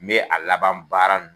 N be a laban baara nu